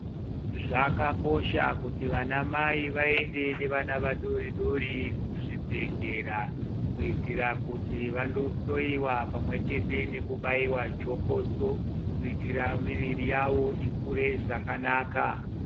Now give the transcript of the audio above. Zvakakosha kuti vana mai vaende nevana vadori dori kuzvibhedlera kuitira kuti vanohloyiwa pamwechete nekubayiwa jokoso kuitira miviri yavo ikure zvakanaka.